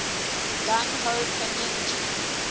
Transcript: gung ho pinyin g